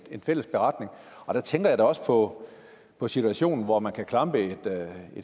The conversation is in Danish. fælles beretning der tænker jeg da også på på situationen hvor man kan klampe et